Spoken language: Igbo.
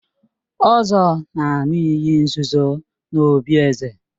Ozor na-aṅụ iyi nzuzo n'obí eze.